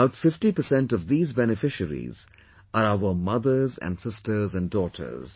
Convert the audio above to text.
About 50 percent of these beneficiaries are our mothers and sisters and daughters